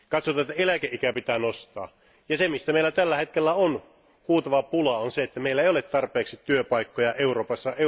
Katsotaan, että eläkeikää pitää nostaa, ja se mistä meillä tällä hetkellä on huutava pula, on se, ettei meillä ole tarpeeksi työpaikkoja Euroopassa.